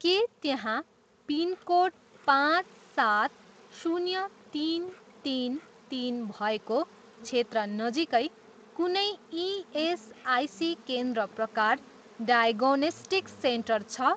के त्यहाँ पिनकोड पाँच सात शून्य तिन तिन तिन भएको क्षेत्र नजिकै कुनै इएसआइसी केन्द्र प्रकार डायग्नोस्टिक सेन्टर छ?